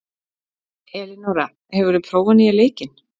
Elinóra, hefur þú prófað nýja leikinn?